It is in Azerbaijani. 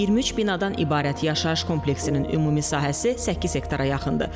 23 binadan ibarət yaşayış kompleksinin ümumi sahəsi 8 hektara yaxındır.